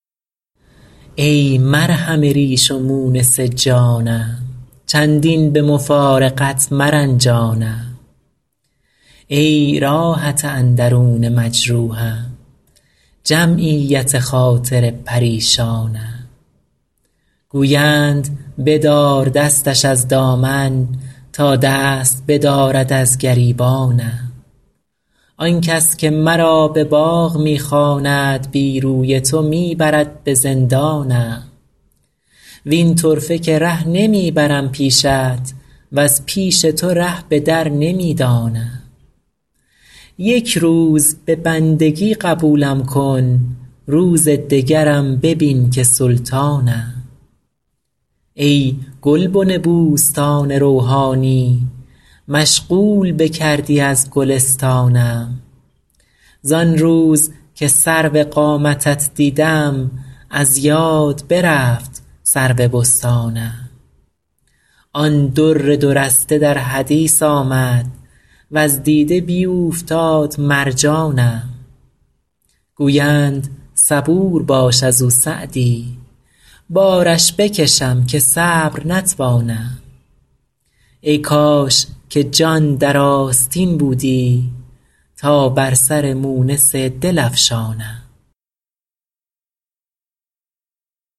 ای مرهم ریش و مونس جانم چندین به مفارقت مرنجانم ای راحت اندرون مجروحم جمعیت خاطر پریشانم گویند بدار دستش از دامن تا دست بدارد از گریبانم آن کس که مرا به باغ می خواند بی روی تو می برد به زندانم وین طرفه که ره نمی برم پیشت وز پیش تو ره به در نمی دانم یک روز به بندگی قبولم کن روز دگرم ببین که سلطانم ای گلبن بوستان روحانی مشغول بکردی از گلستانم زان روز که سرو قامتت دیدم از یاد برفت سرو بستانم آن در دو رسته در حدیث آمد وز دیده بیوفتاد مرجانم گویند صبور باش از او سعدی بارش بکشم که صبر نتوانم ای کاش که جان در آستین بودی تا بر سر مونس دل افشانم